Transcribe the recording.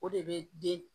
O de bɛ den